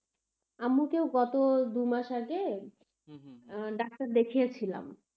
আম্মুকেও গত দু মাস আগে ডাক্তার দেখিয়েছিলাম.